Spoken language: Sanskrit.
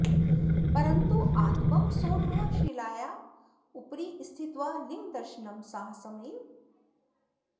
परन्तु आतपं सोढ्वा शिलायाः उपरि स्थित्वा लिङ्गदर्शनं साहसमेव